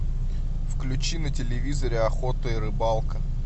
включи на телевизоре охота и рыбалка